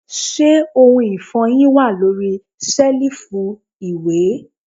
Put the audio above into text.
Se ohun ifohin wa lori selifu iwẹ?